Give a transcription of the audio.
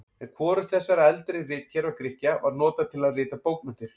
En hvorugt þessara eldri ritkerfa Grikkja var notað til að rita bókmenntir.